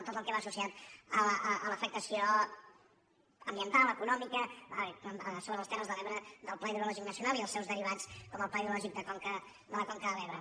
tot el que va associat a l’afectació ambiental econòmica sobre les terres de l’ebre del pla hidrològic nacional i els seus derivats com el pla hidrològic de conca de la conca de l’ebre